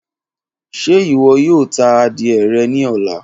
Ṣe iwọ yoo ta adie rẹ ni ọla?